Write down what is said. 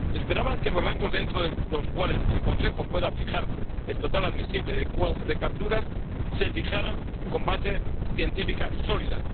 Esperaban que los rangos dentro de los cuales el Consejo puede fijar el total admisible de capturas se fijaran con bases científicas sólidas.